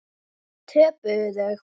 Töpuðu þau?